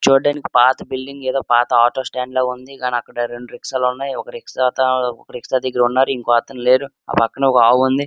చూడ్డానికి పాత బిల్డింగ్ ఏదో పాత ఆటో స్టాండ్ లా ఉంది గాని అక్కడ రెండు రిక్షాలున్నాయి. ఒక రిక్షా అతను ఒక రిక్షా దగ్గర ఉన్నారు ఇంకో అతను లేరు ఆ పక్కన ఒక ఆవు ఉంది.